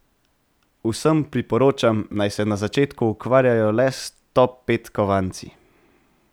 Vsem priporočam, naj se na začetku ukvarjajo le s top pet kovanci.